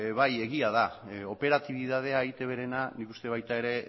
bai egia da operatibitatea eitbrena nik uste baita ere